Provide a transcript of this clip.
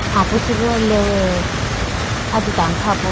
apu chi bhi lewewe ajitane kha po.